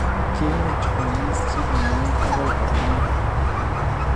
Kiimuuch koamis chekimweu agoi koyamaak